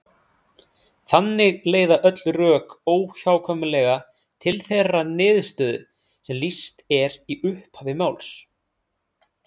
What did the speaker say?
Þannig leiða öll rök óhjákvæmilega til þeirrar niðurstöðu sem lýst er í upphafi máls.